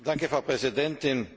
Frau Präsidentin!